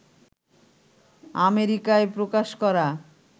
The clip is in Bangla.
আমেরিকায় প্রকাশ করা